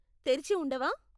తెరిచి ఉండవా?